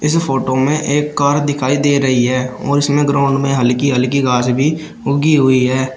इस फोटो में एक कार दिखाई दे रही है और इसमें ग्राउंड में हल्की हल्की घास भी उगी हुई है।